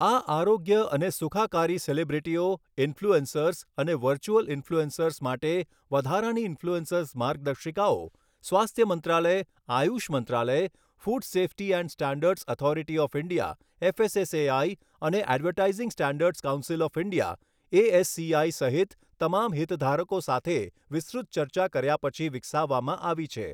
આ આરોગ્ય અને સુખાકારી સેલિબ્રિટીઓ, ઈન્ફ્લ્યુએન્સર્સ અને વર્ચ્યુઅલ ઈન્ફ્લ્યુએન્સર્સ માટે વધારાની ઈન્ફ્લ્યુએન્સર માર્ગદર્શિકાઓ સ્વાસ્થ્ય મંત્રાલય, આયુષ મંત્રાલય, food safety and standards authority of India FSSAI અને advertising standards council of India ASCI સહિત તમામ હિતધારકો સાથે વિસ્તૃત ચર્ચા કર્યા પછી વિકસાવવામાં આવી છે.